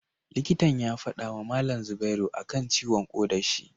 Likitan ya fadama malam zubairu akan ciwon koda shi